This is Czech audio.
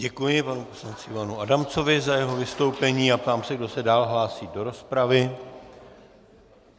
Děkuji panu poslanci Ivanu Adamcovi za jeho vystoupení a ptám se, kdo se dál hlásí do rozpravy.